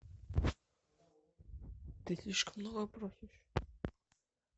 ты слишком много просишь